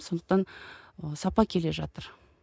сондықтан ы сапа келе жатыр